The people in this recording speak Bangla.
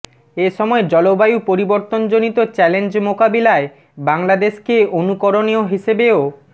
এ সময় জলবায়ু পরিবর্তনজনিত চ্যালেঞ্জ মোকাবেলায় বাংলাদেশকে অনুকরণীয় হিসেবেও